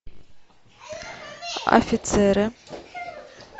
офицеры